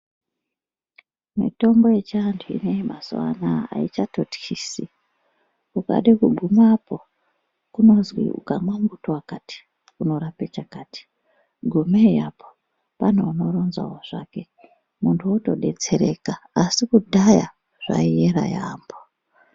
Mitombo yechiantu ineyi mazuwa anaa aichatotyisi. Ukade kugumapo kunozwi ukamwa muti wakati unorape chakati, gumei apo pane unoronzwao zvake muntu wotodetsereka asi kudhaya zvaiera yaambo.